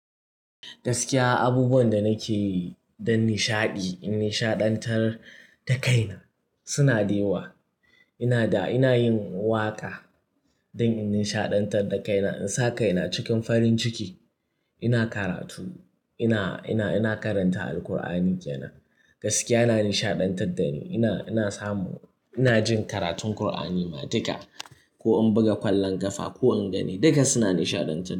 Gaskiya abubuwan da nake yi don nishaɗi, in nishaɗantar da kaina suna da yawa. Ina da-- ina yin waƙa don in nishaɗantar da kaina, in sa kaina cikin farin ciki. Ina karatu, ina, ina, ina karanta Alqur'ani ke nan. Gaskiya yana nishaɗantar da ni. Ina, ina samu, ina jin karatun Qur'ani matuka ko in buga kwallon ƙafa ko in gani duka suna nishaɗantar da ni.